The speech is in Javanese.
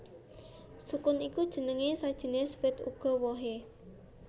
Sukun iku jeneng sajinis wit uga wohé